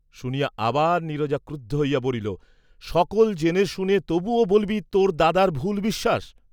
শুনিয়া আবার নীরজা ক্রুদ্ধ হইয়া বলিল, সকল জেনে শুনে তবুও বল্‌বি তোর দাদার ভুল বিশ্বাস!